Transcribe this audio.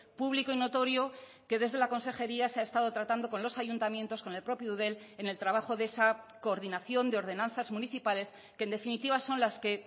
público y notorio que desde la consejería se ha estado tratando con los ayuntamientos con el propio eudel en el trabajo de esa coordinación de ordenanzas municipales que en definitiva son las que